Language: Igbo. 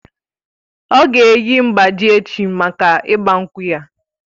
Ọ̀ ga-eyi mgbájí echi mákà ịgba nkwú ya